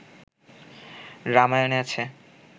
রামায়ণে আছে